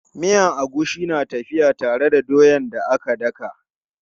Miyan agushi na tafiya tare da doyan da aka daka.